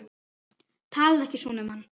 Talaðu ekki svona um hann